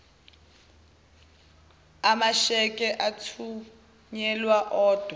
amasheke athunyelwa odwa